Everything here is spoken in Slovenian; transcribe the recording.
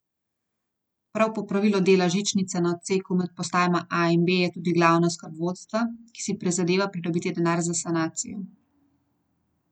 Prav popravilo dela žičnice na odseku med postajama A in B je tudi glavna skrb vodstva, ki si prizadeva pridobiti denar za sanacijo.